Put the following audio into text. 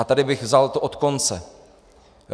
A tady bych to vzal od konce.